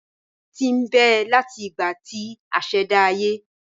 Ewì tí n bẹ láti ìgbà tí asèdá ayé